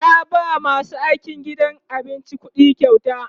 ya ba masu aikin gidan abincin ƙuɗikyauta